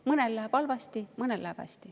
Mõnel läheb halvasti, mõnel läheb hästi.